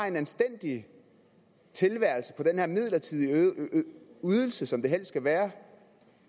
en anstændig tilværelse på den her midlertidige ydelse som det helst skal være